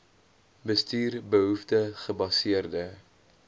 bestuur behoefte gebaseerde